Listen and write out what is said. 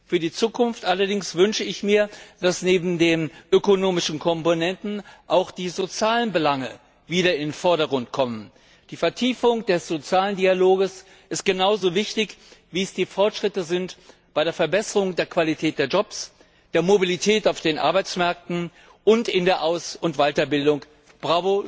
Für die Zukunft wünsche ich mir allerdings, dass neben den ökonomischen Komponenten auch die sozialen Belange wieder in den Vordergrund gestellt werden. Die Vertiefung des sozialen Dialogs ist genauso wichtig, wie es die Fortschritte bei der Verbesserung der Qualität der Jobs, der Mobilität auf den Arbeitsmärkten und in der Aus und Weiterbildung sind.